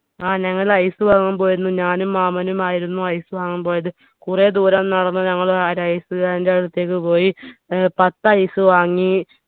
ആ ഞങ്ങൾ ice വാങ്ങാൻ പോയിരുന്നു ഞാനും മാമനും ആയിരുന്നു ice വാങ്ങാൻ പോയത് കുറെ ദൂരം നടന്ന് ഞങ്ങൾ അഹ് ഒരു ice കാരന്റെ അടുത്തേക്ക് പോയി ഏർ പത്ത് ice വാങ്ങി